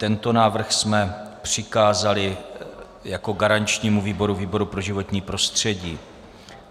Tento návrh jsme přikázali jako garančnímu výboru výboru pro životní prostředí.